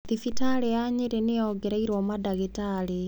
Thibitarĩ ya Nyeri nĩ yongereirũo mandagĩtarĩ.